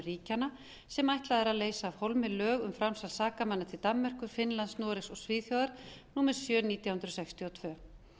ríkjanna sem ætlað er að leysa af hólmi lög um framsal sakamanna til danmerkur finnlands noregs og svíþjóðar númer sjö nítján hundruð sextíu og tvö